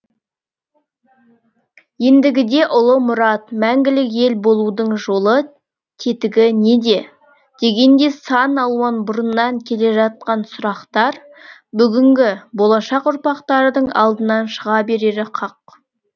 ендігіде ұлы мұрат мәңгілік ел болудың жолы тетігі неде дегендей сан алуан бұрыннан келе жатқан сұрақтар бүгінгі болашақ ұрпақтардың алдынан шыға берері хақ